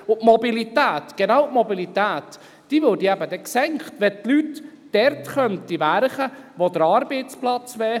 Denn die Mobilität, genau die Mobilität würde eben dann gesenkt, wenn die Leute dort arbeiten könnten, wo der Arbeitsplatz wäre.